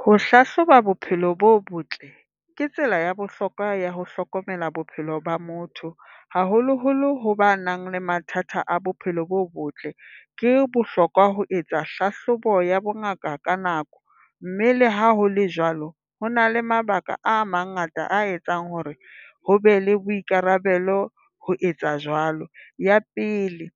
Ho hlahloba bophelo bo botle ke tsela ya bohlokwa ya ho hlokomela bophelo ba motho, haholoholo ho ba nang le mathata a bophelo bo botle. Ke bohlokwa ho etsa hlahlobo ya bongaka ka nako, mme le ha hole jwalo ho na le mabaka a mangata a etsang hore ho be le boikarabelo ho etsa jwalo. Ya pele,